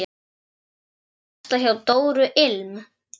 Varstu að versla hjá Dóru ilm?